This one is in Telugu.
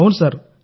అవును సార్